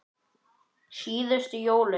Síðustu jólin.